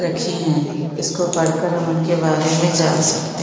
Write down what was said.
--रखी है इसको पढ़ कर हम उनके बारे में जान सकते--